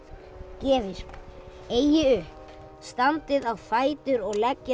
gefist eigi upp standið á fætur og leggið